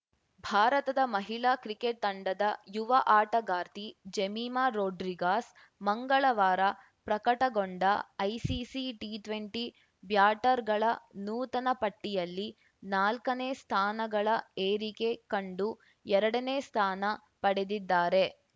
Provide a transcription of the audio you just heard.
ಭಾರತದ ಮಹಿಳಾ ಕ್ರಿಕೆಟ್‌ ತಂಡದ ಯುವ ಆಟಗಾರ್ತಿ ಜೆಮಿಮಾ ರೋಡ್ರಿಗಾಸ್‌ ಮಂಗಳವಾರ ಪ್ರಕಟಗೊಂಡ ಐಸಿಸಿ ಟಿಟ್ವೆಂಟಿ ಬ್ಯಾಟರ್‌ಗಳ ನೂತನ ಪಟ್ಟಿಯಲ್ಲಿ ನಾಲ್ಕನೇ ಸ್ಥಾನಗಳ ಏರಿಕೆ ಕಂಡು ಎರಡನೇ ಸ್ಥಾನ ಪಡೆದಿದ್ದಾರೆ